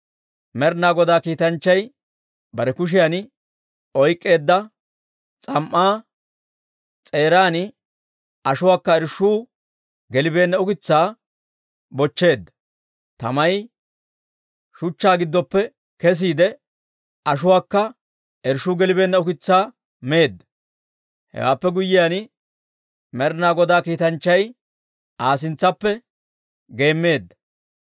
Med'inaa Godaa kiitanchchay bare kushiyan oyk'k'eedda s'am"aa s'eeran ashuwaakka irshshuu gelibeenna ukitsaa bochcheedda; tamay shuchchaa giddoppe kesiide, ashuwaakka irshshuu gelibeenna ukitsaa meedda; hewaappe guyyiyaan, Med'inaa Godaa kiitanchchay Aa sintsaappe geemmeedda.